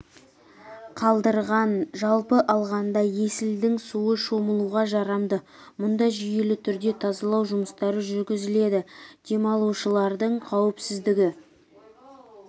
қалдырған жалпы алғанда есілдің суы шомылуға жарамды мұнда жүйелі түрде тазалау жұмыстары жүргізіледі демалушылардың қауіпсіздігі